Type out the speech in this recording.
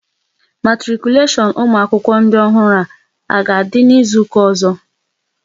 Matikuleshon ụmụ akwụkwọ ndị ọhụrụ a ga-adị n'izuka ọzọ?